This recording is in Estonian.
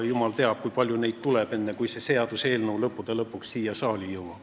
Jumal teab, kui palju neid veel tuleb, enne kui see seaduseelnõu lõppude lõpuks siia saali jõuab.